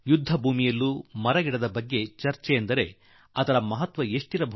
ಯುದ್ಧದ ಮೈದಾನದಲ್ಲೂ ವೃಕ್ಷಗಳ ಕುರಿತು ಚರ್ಚೆ ಮತ್ತು ಚಿಂತಿಸುವುದು ಎಂದರೆ ಅದರ ಮಹಿಮೆ ಎಷ್ಟಿರಲಿಕ್ಕೆ ಸಾಕು